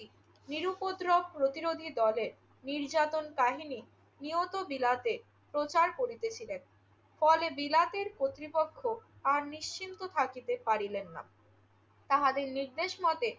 নিরুপদ্রব প্রতিরোধী দলের নির্যাতন কাহিনি নিয়ত বিলাতে প্রচার করিতেছিলেন। ফলে বিলাতের কর্তৃপক্ষ আর নিশ্চিন্ত থাকিতে পারিলেন না। তাহাদের নির্দেশমতে